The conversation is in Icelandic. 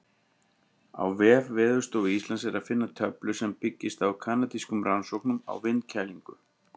Á vef Veðurstofu Íslands er að finna töflu sem byggist á kanadískum rannsóknum á vindkælingu.